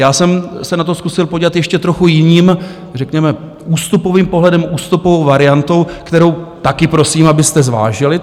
Já jsem se na to zkusil podívat ještě trochu jiným, řekněme ústupovým pohledem, ústupovou variantou, kterou taky prosím, abyste zvážili.